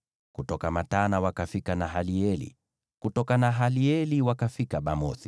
kutoka Matana wakafika Nahalieli, kutoka Nahalieli wakafika Bamothi,